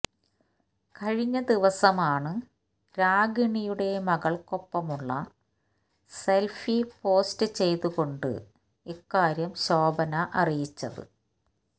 കഴിഞ്ഞ ദിവസമാണ് രാഗിണിയുടെ മകൾക്കൊപ്പമുള്ള സെൽഫി പോസ്റ്റ് ചെയ്തുകൊണ്ട് ഇക്കാര്യം ശോഭന അറിയിച്ചത്